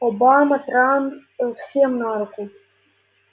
обама трамп всем на руку